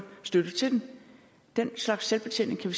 støtte til det den slags selvbetjening kan